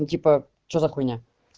ну типа что за хуйня